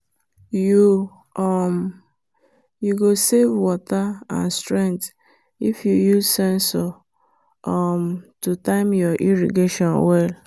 you um go save water and strength if you use sensor um to time your irrigation well.